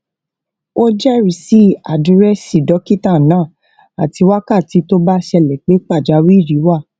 ó jérisí àdìrẹsí dókítà náà àti wákàtí tó bá ṣẹlẹ pé pàjáwìrì wà